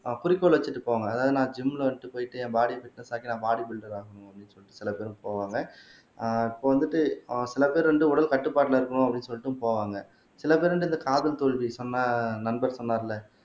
அஹ் குறிக்கோள் வச்சிட்டு போங்க அதாவது நான் ஜிம்ல வந்துட்டு போயிட்டு என் பாடி பிட்னஸ் ஆக்கி நான் பாடி பில்டர் ஆகணும் அப்படினு சொல்லி சில பேர் போவாங்க ஆஹ் இப்ப வந்துட்டு ஆஹ் சில பேர் வந்து உடல் கட்டுப்பாட்டுல இருக்கணும் அப்படின்னு சொல்லிட்டு போவாங்க சில பேர் வந்து இந்த காதல் தோல்வி சொன்ன நண்பர் சொன்னாருல்ல